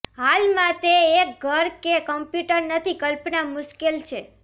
હાલમાં તે એક ઘર કે કમ્પ્યુટર નથી કલ્પના મુશ્કેલ છે